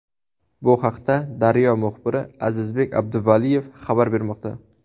Bu haqda «Daryo» muxbiri Azizbek Abduvaliyev xabar bermoqda.